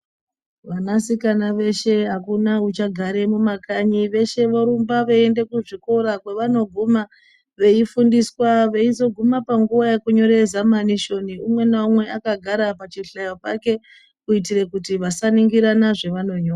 Vana sikana veshe akuna ucha gare mu makanyi veshe vorumba vei ende ku zvikora kwe vano guma vei fundiswa veizo guma pa nguva yeku nyore zamanishoni umwe na umwe aka gara pa chihlayo pake kuitire kuti vasa ningirana zve vano nyora.